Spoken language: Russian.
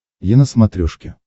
е на смотрешке